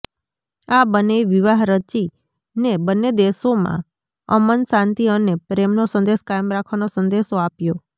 આ બંનેએ વિવાહ રચીને બંને દેશોમાં અમન શાંતિ અને પ્રેમનો સંદેશ કાયમ રાખવાનો સંદેશો આપ્યો